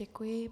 Děkuji.